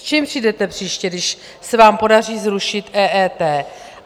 S čím přijdete příště, když se vám podaří zrušit EET?